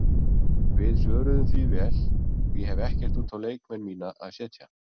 Við svöruðum því vel og ég hef ekkert út á leikmenn mína að setja.